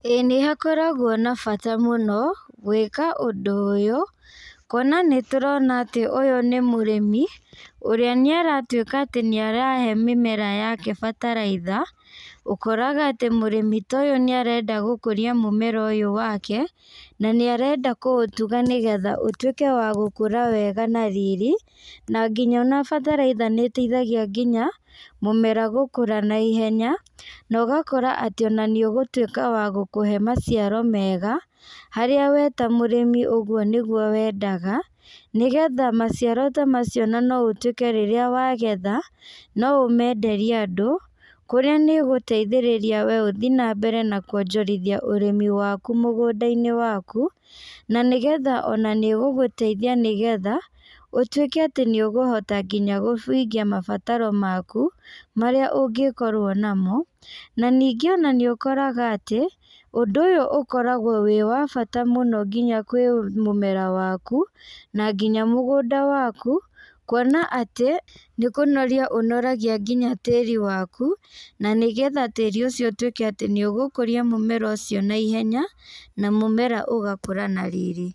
Ĩĩ nĩhakoragwo na bata mũno, gwĩka ũndũ ũyũ, kuona nĩtũrona atĩ ũyũ nĩ mũrĩmi, ũrĩa nĩaratuĩka atĩ nĩarahe mĩmera yake bataraitha, ũkoraga atĩ mũrĩmi ta ũyũ nĩarenda gũkũria mũmera ũyũ wake, na nĩarenda kũutuga nĩgetha ũtuĩke wa gũkũra wega na riri, na nginya ona bataraitha nĩiteithagia nginya, mũmera gũkũra na ihenya, na ũgakora atĩ ona nĩũgũtuĩka wa gũkũhe maciaro mega, harĩa we ta mũrĩmi ũguo nĩguo wendaga, negetha maciaro ta macio ona no ũtuĩke rĩrĩa wagetha, no ũmenderie andũ, kũrĩa nĩgũteithĩrĩria we uthi nambere na kuonjorithia ũrĩmi waku mũgũndainĩ waku, na nĩgetha ona nĩũgũteithia nĩgetha, ũtuĩke atĩ nĩũgũhota nginya kũhingia mabataro maku, marĩa ũngĩkorwo namo, na ningĩ ona nĩũkoraga atĩ, ũndũ ũyũ ũkoragwo wĩ wa bata mũno nginya kwĩ mũmera waku, na nginya mũgũnda waku, kuona atĩ, nĩkũnoria ũnoragia nginya tĩri waku, na nĩgetha tĩri ũcio ũtuĩke atĩ nĩũgũkũria mũmera ũcio na ihenya, na mũmera ũgakũra na riri.